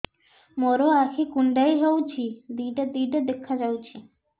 ମୋର ଆଖି କୁଣ୍ଡାଇ ହଉଛି ଦିଇଟା ଦିଇଟା ଦେଖା ଯାଉଛି